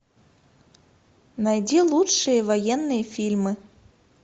найди лучшие военные фильмы